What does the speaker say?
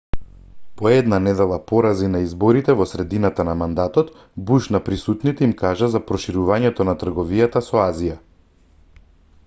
по една недела порази на изборите во средината на мандатот буш на присутните им кажа за проширувањето на трговијата со азија